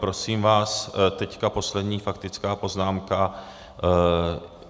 Prosím vás, teď poslední faktická poznámka.